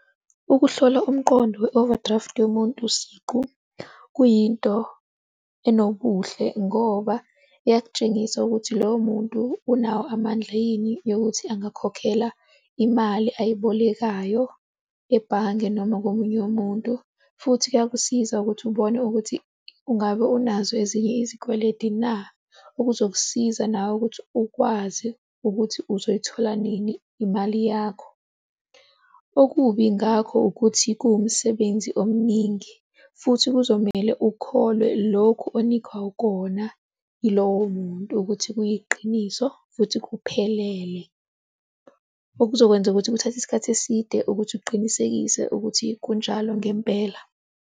Ukuhlola umqondo we-overdraft yomuntu siqu kuyinto enobuhle ngoba iyakutshengisa ukuthi loyo muntu unawo amandla yini yokuthi angakhokhela imali oyibolekayo ebhange noma komunye umuntu. Futhi kuyakusiza ukuthi ubone ukuthi ungabe unazo ezinye izikweledi na. Okuzokusiza nawe ukuthi ukwazi ukuthi uzoyithola nini imali yakho. Okubi ngakho ukuthi kuwumsebenzi omningi futhi kuzomele ukholwe lokhu onikwa kona yilowo muntu ukuthi kuyiqiniso futhi kuphelele. Okuzokwenza ukuthi kuthathe isikhathi eside ukuthi uqinisekise ukuthi kunjalo ngempela.